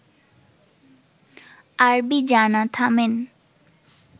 আরবি জানা, থামেন